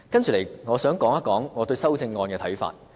接着，我想提出我對修正案的看法。